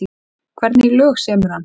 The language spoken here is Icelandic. En hvernig lög semur hann?